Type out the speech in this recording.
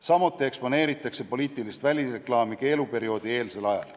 Samuti eksponeeritakse poliitilist välireklaami keeluperioodieelsel ajal.